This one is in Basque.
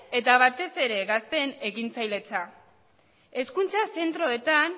eta batez ere gazteen ekintzailetza hezkuntza zentroetan